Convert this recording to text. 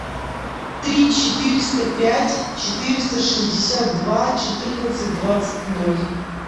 три четыреста пять четыреста шестьдесят два четырнадцать двадцать ноль